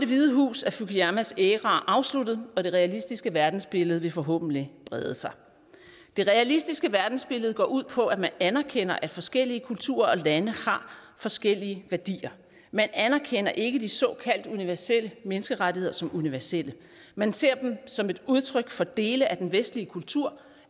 hvide hus er fukuyamas æra afsluttet og det realistiske verdensbillede vil forhåbentlig brede sig det realistiske verdensbillede går ud på at man anerkender at forskellige kulturer og lande har forskellige værdier men anerkender ikke de såkaldt universelle menneskerettigheder som universelle man ser dem som et udtryk for dele af den vestlige kultur